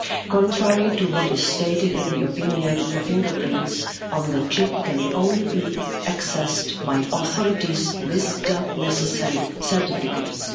Contrary to what is stated in the opinion, the fingerprints on the chip can only be accessed by authorities with the necessary certificates.